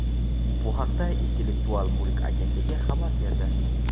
Bu haqda Intellektual mulk agentligi xabar berdi.